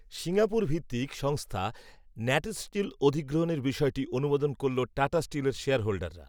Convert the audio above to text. Singapore ভিত্তিক সংস্থা NatSteel অধিগ্রহণের বিষয়টি অনুমোদন করল টাটা স্টিলের শেয়ারহোল্ডাররা।